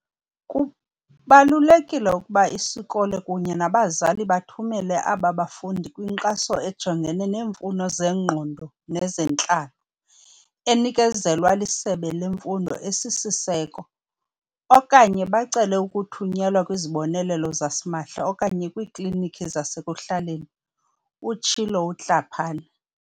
"Kubalulekile ukuba isikolo kunye nabazali bathumele ababafundi kwinkxaso ejongene neemfuno zengqondo nezentlalo, enikezelwa liSebe leMfundo esiSiseko, okanye bacele ukuthunyelwa kwizibonelelo zasimahla okanye kwiikliniki zasekuhlaleni," utshilo uTlhapane.